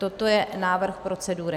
Toto je návrh procedury.